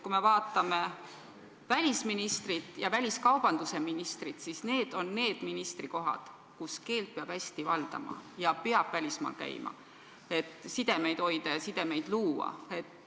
Kui me vaatame välisministri ja väliskaubandusministri ametikohta, siis need on ministrikohad, millel olles peab keelt hästi valdama ja peab välismaal käima, et sidemeid hoida ja sidemeid luua.